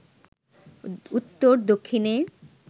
উত্তর-দক্ষিণে